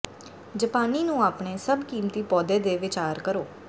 ਜਪਾਨੀ ਨੂੰ ਆਪਣੇ ਸਭ ਕੀਮਤੀ ਪੌਦੇ ਦੀ ਵਿਚਾਰ ਕਰੋ